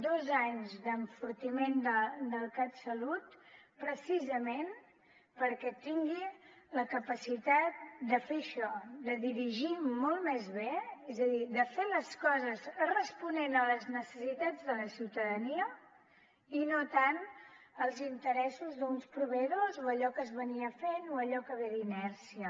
dos anys d’enfortiment del catsalut precisament perquè tingui la capacitat de fer això de dirigir molt més bé és a dir de fer les coses responent a les necessitats de la ciutadania i no tant els interessos d’uns proveïdors o allò que es venia fent o allò que ve d’inèrcia